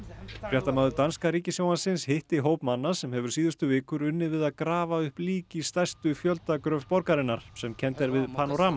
fréttamaður danska ríkissjónvarpsins hitti hóp manna sem hefur síðustu vikur unnið við að grafa upp lík í stærstu fjöldagröf borgarinnar sem kennd er við